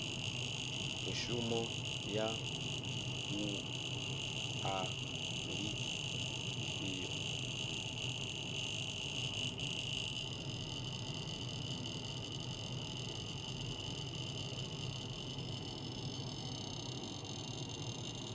mishumo ya wua ndi ifhio